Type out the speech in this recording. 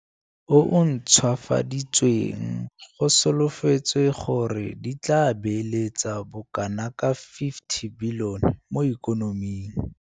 o o Ntšhwafaditsweng go solofetswe gore di tla beeletsa bokanaka R50 bilione mo ikonoming.